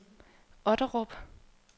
Otterup